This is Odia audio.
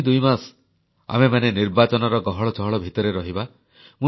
ଆଗାମୀ ଦୁଇମାସ ଆମେମାନେ ନିର୍ବାଚନର ଗହଳ ଚହଳ ଭିତରେ ରହିବା